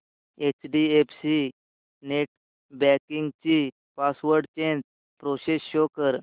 HDFC net banking ची password change process show कर